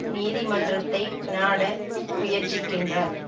நீதி மன்றத்தை நாட முயற்சிக்கின்றார்